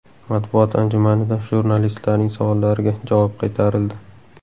Matbuot anjumanida jurnalistlarning savollariga javob qaytarildi.